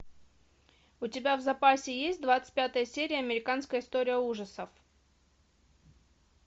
у тебя в запасе есть двадцать пятая серия американская история ужасов